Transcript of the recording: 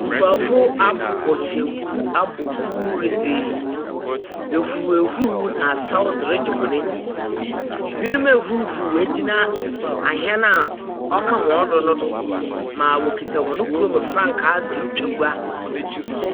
Nkurɔfo abɔ kyenku de ahuri huri ne asaw de regye wɔn ani. Ɛbinom ahurihuri agyina ahyɛn a wɔka wɔn hɔ do na ɔkura wɔn kurom frankaa.